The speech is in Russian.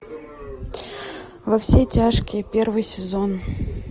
во все тяжкие первый сезон